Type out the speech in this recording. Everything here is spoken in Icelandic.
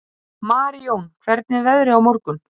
Marijón, hvernig er veðrið á morgun?